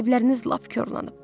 Əsəbləriniz lap korlanıb.